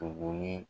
Tugunnin